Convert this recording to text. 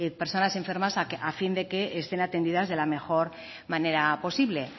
personas enfermas a fin que estén atendidas de la mejor manera posible